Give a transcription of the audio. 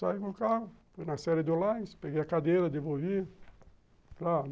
Saí com o carro, fui na série do Olás, peguei a cadeira, devolvi.